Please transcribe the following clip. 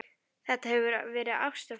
Þetta hefur verið ást við fyrstu sýn.